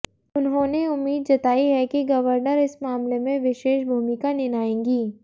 उन्होंने उम्मीद जताई है कि गवर्नर इस मामले में विशेष भूमिका निनाएंगी